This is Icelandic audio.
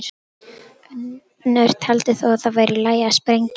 Önnur taldi þó að það væri í lagi að sprengja.